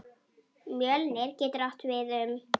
Mjölnir getur átt við um